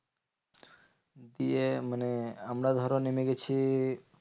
গিয়ে মানে আমরা ধরো নেমে গেছি